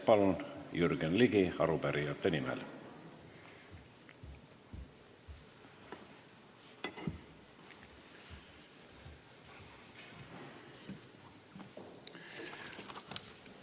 Palun, Jürgen Ligi, arupärijate nimel!